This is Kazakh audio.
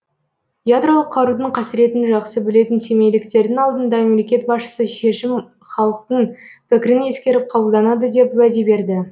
ядролық қарудың қасіретін жақсы білетін семейліктердің алдында мемлекет басшысы шешім халықтың пікірін ескеріп қабылданады деп уәде берді